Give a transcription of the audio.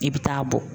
I bɛ taa bɔn